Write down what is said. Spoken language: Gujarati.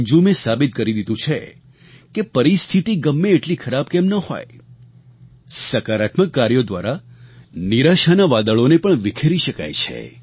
અંજુમે સાબિત કરી દીધું છે કે પરિસ્થિતિ ગમે તેટલી ખરાબ કેમ ન હોય સકારાત્મક કાર્યો દ્વારા નિરાશાનાં વાદળોને પણ વિખેરી શકાય છે